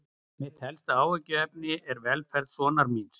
Mitt helsta áhyggjuefni er velferð sonar míns.